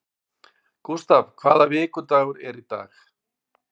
Gustav, hvaða vikudagur er í dag?